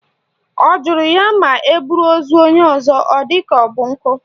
Ọ jụrụ ya ma eburu ozu onye ọzọ ọ dị ka ọ bụ nkụ?